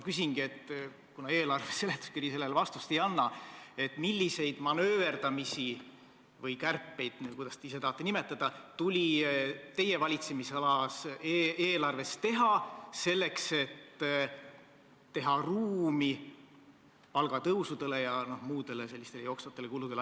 Kuna eelarve seletuskiri sellele vastust ei anna, siis ma küsingi, milliseid manööverdamisi – või kärpeid, kuidas te ise tahate nimetada – tuli teie valitsemisala eelarves teha, selleks et teha ruumi palgatõusudele ja muudele jooksvatele kuludele.